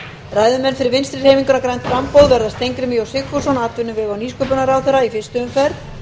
ræðumenn fyrir vinstri hreyfinguna grænt framboð verða steingrímur j sigfússon atvinnuvega og nýsköpunarráðherra í fyrstu umferð